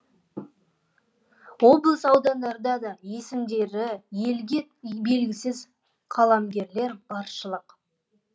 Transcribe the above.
облыс аудандарда да есімдері елге белгісіз қаламгерлер баршылық